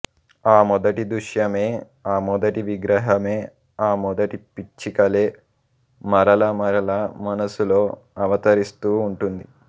ఆమొదటిదృశ్యమే ఆ మొదటి విగ్రహమే ఆమొదటి పిచ్చికలే మరల మరల మనసులో అవతరిస్తూ ఉంటుంది